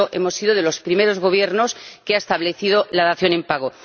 De hecho, ha sido de los primeros Gobiernos que ha establecido la dación en pago.